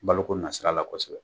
Baloko nasira la kosɛbɛ